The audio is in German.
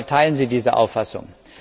Teilen Sie diese Auffassung?